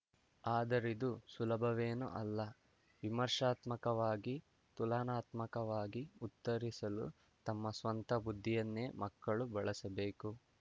ಆದರಿದು ಸುಲಭವೇನೂ ಅಲ್ಲ ವಿಮರ್ಶಾತ್ಮಕವಾಗಿ ತುಲನಾತ್ಮಕವಾಗಿ ಉತ್ತರಿಸಲು ತಮ್ಮ ಸ್ವಂತ ಬುದ್ಧಿಯನ್ನೇ ಮಕ್ಕಳು ಬಳಸಬೇಕು